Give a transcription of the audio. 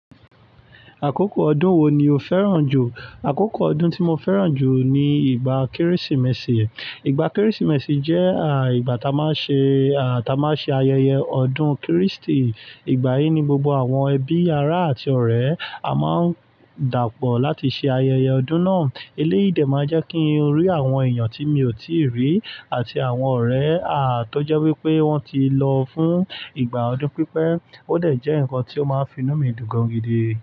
Àkókò ọdún wo ni o fẹ́ràn jù? Àkókò ọdún tí mo fẹ́ràn jù ni ìgbà Kérésìmesì. Ìgbà Kérésìmesì jẹ́ à ìgbà tá a máa ṣe à tá a máa ṣe ayẹyẹ ọdún Kristì. Ìgbà yìí ni gbogbo àwọn ẹbí, ará àti ọ̀rẹ́ a máa ń dàpọ̀ láti ṣe ayẹyẹ ọdún náà. Eléyìí dé máa jẹ́ kí n rí àwọn èèyàn tí mi ò tíì rí àti àwọn ọ̀rẹ́ à tó jẹ́ wípé wón ti lọ fún ìgbà ọdún pípẹ́. Ó dẹ̀ jẹ́ ǹkan tí ó máa ń finú mi dún gangan gidi.